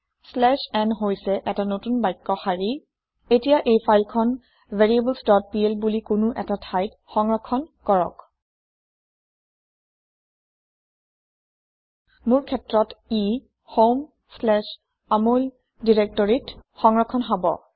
slash n হৈছে এটা নতুন বাক্য শাৰী এতিয়া এই ফাইল খন variablesplবুলি কোনো এটা ঠাইত সংৰক্ষণ কৰক মোৰ ক্ষেত্ৰত ই homeআমল directoryত সংৰক্ষণ হব